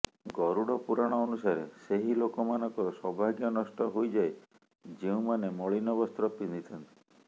ଗରୁଡ଼ ପୁରାଣ ଅନୁସାରେ ସେହି ଲୋକମାନଙ୍କର ସୌଭାଗ୍ୟ ନଷ୍ଟ ହୋଇଯାଏ ଯେଉଁମାନେ ମଳିନ ବସ୍ତ୍ର ପିନ୍ଧିଥାନ୍ତି